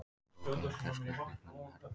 Rokið hefur gert slökkviliðsmönnum erfitt fyrir